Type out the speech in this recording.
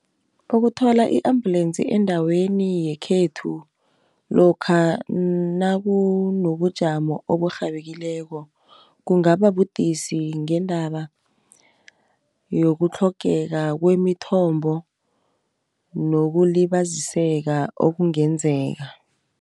Ukuthola i-ambulensi endaweni yekhethu lokha nakunobujamo oburhabekileko, kungababudisi ngendaba yokutlhogeka kwemithombo, nokulibaziseka okungenzeka.